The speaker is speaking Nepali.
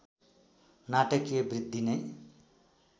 नाटकीय वृद्धि नै